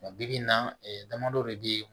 Bibi in na damadɔ de be yen